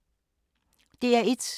DR1